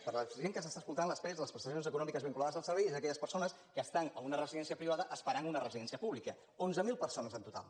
per a la gent que ens escolta les pevs les prestacions econòmiques vinculades a servei són aquelles persones que estan en una residència privada esperant una residència pública onze mil persones en total